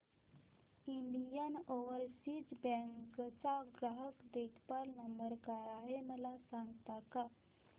Indian overseas bank चा ग्राहक देखभाल नंबर काय आहे मला सांगता का